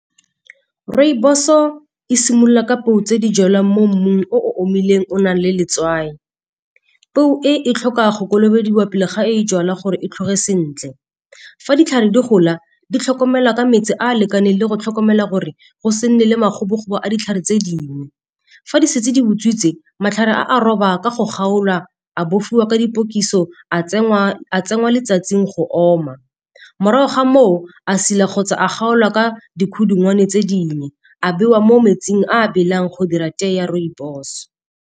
Rooibos-o e simolola ka peo tse di jalwang mo mmung o omileng o nang le letswai. Peo e e tlhoka go kolobediwa pele ga e jalwa gore e tlhoge sentle. Fa ditlhare di gola di tlhokomelwa ka metsi a a lekaneng le go tlhokomela gore go se nne le makgokgobo a ditlhare tse dingwe. Fa di setse di botswitse matlhare a roba ka go kgaolwa, a bofiwa ka dipokiso, a tsenngwa letsatsing go oma. Morago ga moo a silwa kgotsa a kgaolwa ka dikhudungwane tse dinnye, a bewa mo metsing a belang go dira tee ya rooibos.